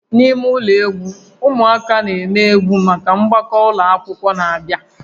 N'ime ụlọ egwu, ụmụaka na-eme egwu maka mgbakọ ụlọ akwụkwọ na-abịa